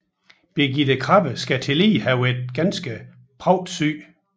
Birgitte Krabbe skal tillige have været ganske pragtsyg